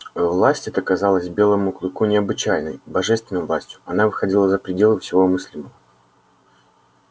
власть эта казалась белому клыку необычайной божественной властью она выходила за пределы всего мыслимого